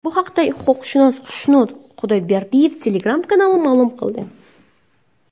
Bu haqda huquqshunos Xushnud Xudoyberdiyev Telegram kanalida ma’lum qildi .